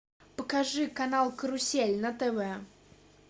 покажи канал карусель на тв